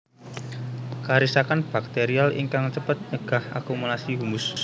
Karisakan bakterial ingkang cepet nyegah akumulasi humus